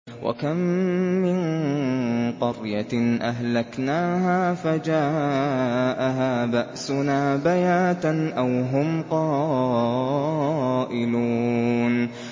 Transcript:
وَكَم مِّن قَرْيَةٍ أَهْلَكْنَاهَا فَجَاءَهَا بَأْسُنَا بَيَاتًا أَوْ هُمْ قَائِلُونَ